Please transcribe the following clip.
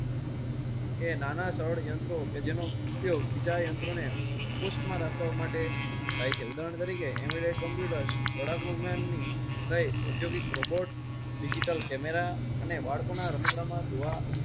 નાના સદ યંત્ર કે જેનો ઉપયોગ બીજા યંત્રો ને કુશમાં રાખવા માટે થાય છે. ઉધારણ તરીકે એમ્બે ડેડ કમ્પ્યુટર, લડાકુ વિમાન, ઉદ્યુગિક રોબોટ્સડિજિટલ કેમેરા.